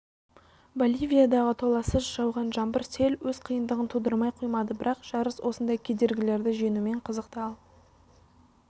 боливиядағы толассыз жауған жаңбыр сел өз қиындығын тудырмай қоймады бірақ жарыс осындай кедергілерді жеңуімен қызықты ал